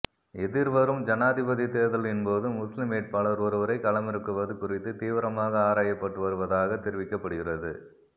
எதிர்வரும் ஜனாதிபதி தேர்தலின் போது முஸ்லிம் வேட்பாளர் ஒருவரை களமிறக்குவது குறித்து தீவிரமாக ஆராயப்பட்டு வருவதாகத் தெரிவிக்கப்படுகிறது